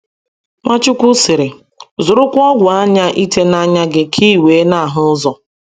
Nwachukwu sịrị: Zụrụkwa ọgwụ anya ite n’anya gị, ka i wee na - ahụ ụzọ.